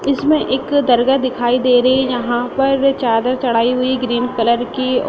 इसमें एक दरगाह दिखाई दे रही है | यहाँ पर चादर चढ़ाई हुई है ग्रीन कलर की और --